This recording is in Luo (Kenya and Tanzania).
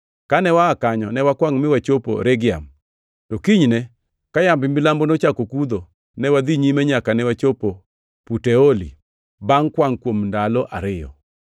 Kane waa kanyo, ne wakwangʼ mi wachopo Regiam, to kinyne, ka yamb milambo nochako kudho, ne wadhi nyime nyaka ne wachopo Puteoli, bangʼ kwangʼ kuom ndalo ariyo.